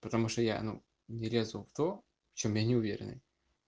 потому что я ну не резал то в чём я неуверенный